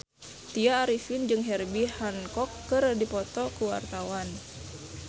Tya Arifin jeung Herbie Hancock keur dipoto ku wartawan